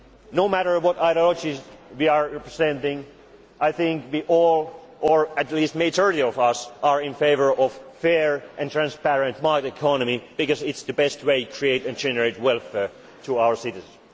activity in this. No matter what ideologies we are representing, I think we all or at least the majority of us are in favour of a fair and transparent market economy because it is the best way to create and generate welfare